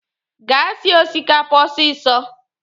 Gaa sie osikapa ọsịsọ!